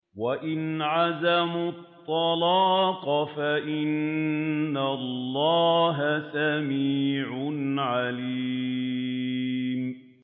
وَإِنْ عَزَمُوا الطَّلَاقَ فَإِنَّ اللَّهَ سَمِيعٌ عَلِيمٌ